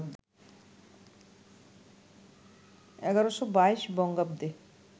১১২২ বঙ্গাব্দে